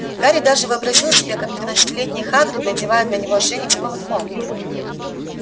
гарри даже вообразил себе как тринадцатилетний хагрид надевает на него ошейник с поводком